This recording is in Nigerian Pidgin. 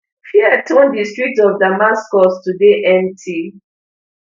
fear turn di streets of damascus to dey empty